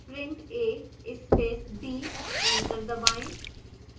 print a space b enter दबाएं